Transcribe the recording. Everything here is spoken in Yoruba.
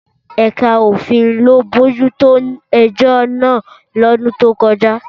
Ẹ̀ka òfin ló bójú tó ẹjọ́ náà lọ́dún tó kọjá.